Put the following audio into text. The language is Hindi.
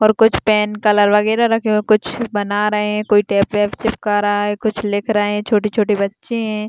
और कुछ पैन कलर वगेरा रखे हुए हैं कुछ बना रहे हैं कोई टेप वेप चिपका रहा है कुछ लिख रहे हैं छोटे छोटे बच्चे है।